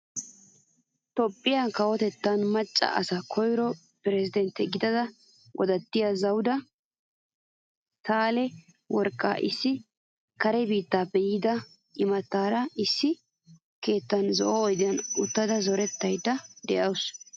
Toophphiyaa kawotettan macca asaan koyro piresidanttiyo gidida godattiyo zawuda sahile worqqa issi kare biittappe yiida imataara issi keettan zo'o oydiyan uttada zorettayda de'awusu.